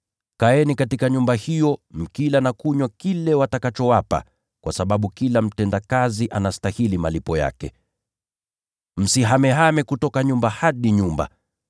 Kaeni katika nyumba hiyo, mkila na kunywa kile watakachowapa, kwa sababu kila mtendakazi anastahili malipo yake. Msihamehame kutoka nyumba hadi nyumba.